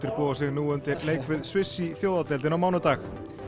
búa sig nú undir leik við Sviss í Þjóðadeildinni á mánudag